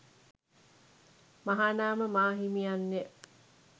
මහානාම මාහිමියන් ය.